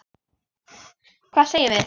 Hvað segjum við?